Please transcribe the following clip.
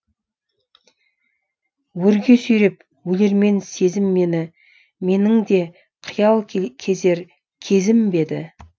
өрге сүйреп өлермен сезім мені менің де қиял кезер кезім бе еді